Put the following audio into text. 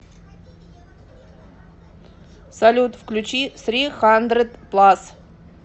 салют включи сри хандред плас